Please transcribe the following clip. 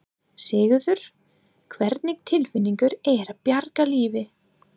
Sigurður: Hvernig tilfinning er að bjarga lífi?